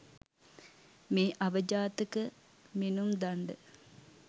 මේ අවජාතක මිනුම් දණ්ඩ